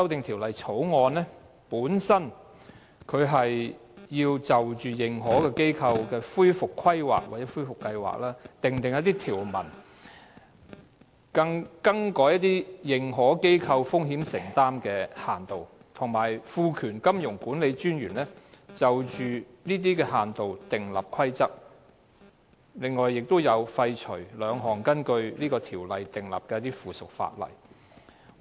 《條例草案》旨在就認可機構的恢復規劃或計劃，訂定條文、更改認可機構的風險承擔限度，以及賦權金融管理專員就這些限度訂立規則，並且廢除兩項根據條例訂立的附屬法例。